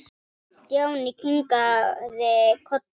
Stjáni kinkaði kolli.